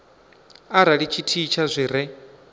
arali tshithihi tsha zwi re